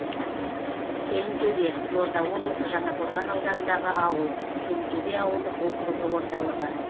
келінтөбе қызылорда облысы жаңақорған ауданындағы ауыл келінтөбе ауылдық округі орталығы